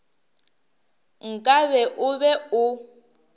nka be o be o